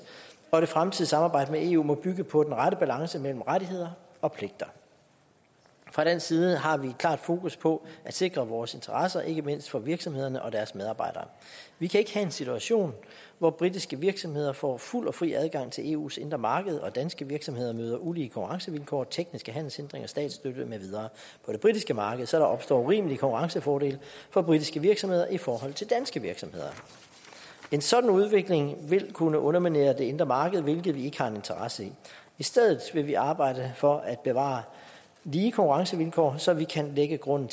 og det fremtidige samarbejde med eu må bygge på den rette balance mellem rettigheder og pligter fra dansk side har vi et klart fokus på at sikre vores interesser ikke mindst for virksomhederne og deres medarbejdere vi kan ikke have en situation hvor britiske virksomheder får fuld og fri adgang til eus indre marked og danske virksomheder møder ulige konkurrencevilkår tekniske handelshindringer og statsstøtte med videre på det britiske marked så der opstår urimelige konkurrencefordele for britiske virksomheder i forhold til danske virksomheder en sådan udvikling vil kunne underminere det indre marked hvilket vi ikke har nogen interesse i i stedet vil vi arbejde for at bevare lige konkurrencevilkår så vi kan lægge grunden